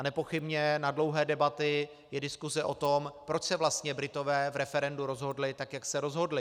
A nepochybně na dlouhé debaty je diskuse o tom, proč se vlastně Britové v referendu rozhodli tak, jak se rozhodli.